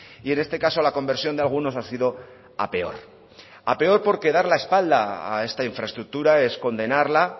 y en este caso la conversión de algunos ha sido a peor a peor porque dar la espalda a esta infraestructura es condenarla